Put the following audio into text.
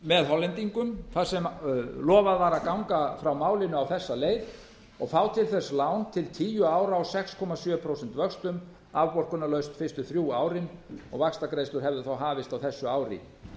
með hollendingum þar sem lofað var að ganga frá málinu á þessa leið og fá til þess lán til tíu ára á sex komma sjö prósent vöxtum afborgunarlaust fyrstu þrjú árin og vaxtagreiðslur hefðu þá hafist á þessu ári